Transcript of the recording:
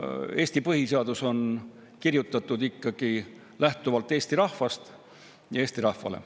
Eesti põhiseadus on kirjutatud ikkagi lähtuvalt Eesti rahvast ja Eesti rahvale.